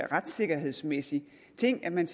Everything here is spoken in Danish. retssikkerhedsmæssig ting at man